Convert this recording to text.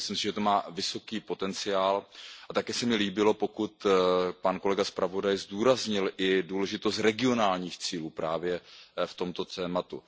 Myslím si, že to má vysoký potenciál a také se mi líbilo, pokud kolega zpravodaj zdůraznil i důležitost regionálních cílů právě v tomto tématu.